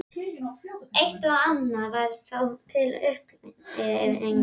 Eitt og annað var þó til upplyftingar.